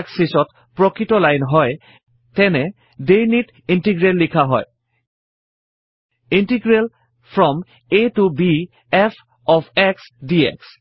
axis ত প্ৰকৄত line হয়তেনেহলে ডেফিনিট ইন্টিগ্ৰেল লিখা হয় ইণ্টিগ্ৰেল ফ্ৰম a ত b f of x dx